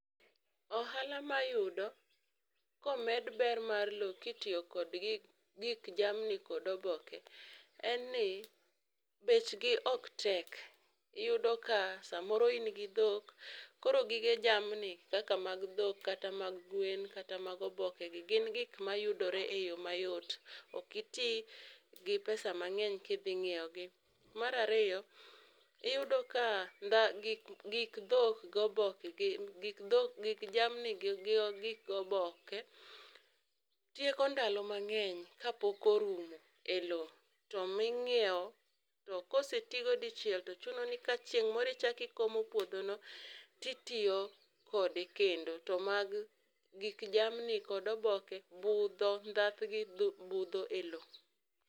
Ohala mayudo komed ber mar lowo kitiyo kod gi gik jamni kod oboke en ni bech gi ok tek. Iyudo ka samoro in gi dhok koro gige jamni kaka mag dhok kata mag gwen kata mag oboke gi yudore e yo mayot, ok iti gi pesa mang'eny kidhi nyiewogi . Mar ariyo iyudo ka gik dhok goboke gik jamni gi gik oboke tieko ndalo mang'eny kapok orumo o lowo to ming'iewo to kosetigo dichiel to chuno ni ka chieng' moro ichaki komo puodho no to ichak iitiyo kode kendo to mag gik jamni kod oboke budho ndhathgi budho e lowo.